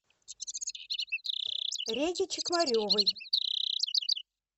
реге чекмаревой